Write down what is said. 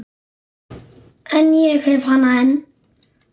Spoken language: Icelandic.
En ég hef hana enn.